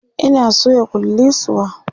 Ina soya kullisuwa